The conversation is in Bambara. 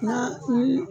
Na ni